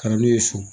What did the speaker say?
Ka na n'u ye so